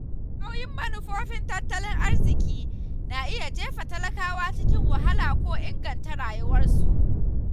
Sauyin manufofin tattalin arziki na iya jefa talakawa cikin wahala ko inganta rayuwarsu.